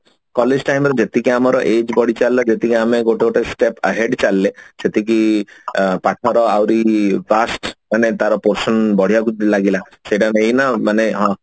collage time ରେ ଯେତିକି ଆମର age ବଢି ଚାଲିଲା ଯେତିକି ଆମେ ଗୋଟେ ଗୋଟେ step ahead ଚାଲିଲେ ସେଠିକି ଅ ପାଠର ଆହୁରି task ମାନେ ତାର portion ବଢିଆକୁ ଲାଗିଲା ସେଟା ଗୋଟେ ଏଇନା ମାନେ